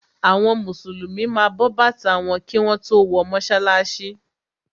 Àwọn Mùsùlùmí ma bọ bàtà wọn kí wọ́n tó wọ mọ́sálásí.